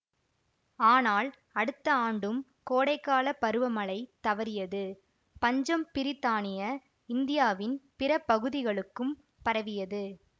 ஆனால் அடுத்த ஆண்டும் கோடைக்கால பருவ மழை தவறியது பஞ்சம் பிரித்தானிய இந்தியாவின் பிற பகுதிகளுக்கும் பரவியது